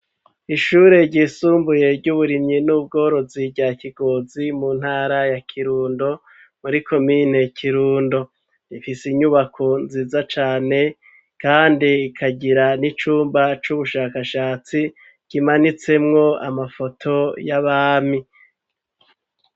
Ishure ryisumbuye ry'uburimyi n'ubworozi rya Kigozi mu ntara ya Kirundo muri komine Kirundo. Ifise inyubako nziza cane, kandi ikagira n'icumba c'ubushakashatsi kimanitsemwo amafoto y'abami.